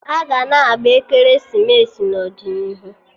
Aga na-agba ekeresimesi n'ọdịnihu